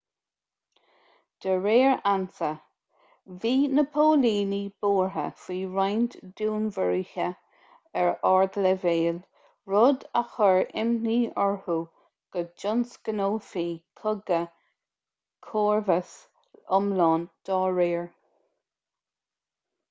de réir ansa bhí na póilíní buartha faoi roinnt dúnmharuithe ar ardleibhéal rud a chur imní orthu go dtionscnófaí cogadh comharbais iomlán dá réir